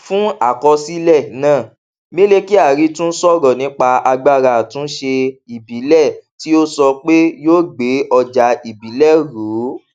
fún àkọsílẹ náà mele kyari tún sọrọ nípa agbára àtúnṣe ìbílẹ tí ó sọ pé yóò gbé ọjà ìbílẹ ró